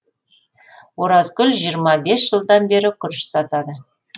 оразкүл жиырма жылдан бері күріш сатады